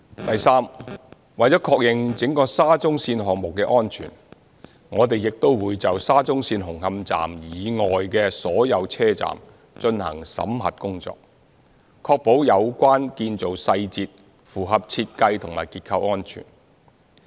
第三，為了確認整個沙中線項目的安全，我們亦會就沙中線紅磡站以外的所有車站進行審核工作，確保有關建造細節符合設計及結構安全。